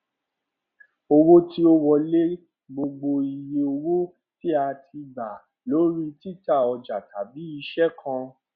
owó tí ó wọlé gbogbo iye owó tí a tí a gbà lórí títa ọjà tàbí iṣẹ kan